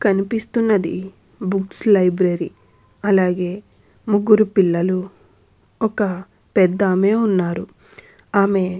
కనిపిస్తున్నది books library . అలాగే ముగ్గురు పిల్లలు ఒక్క పెద్ద ఆమె ఉన్నారు. ఆమె --